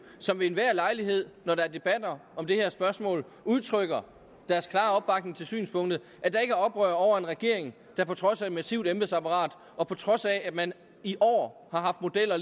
som ved enhver lejlighed når der er debatter om det her spørgsmål udtrykker deres klare opbakning til synspunktet er oprør over en regering der på trods af et massivt embedsapparat og på trods af at man i år har haft modeller